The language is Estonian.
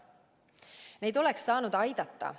Neid lapsi oleks saanud aidata.